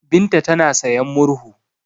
Binta tana sayan murhu.